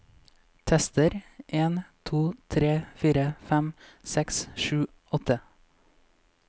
Tester en to tre fire fem seks sju åtte